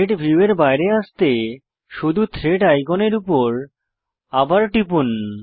thread ভিউয়ের বাইরে আসতে শুধু থ্রেড আইকনের উপর আবার টিপুন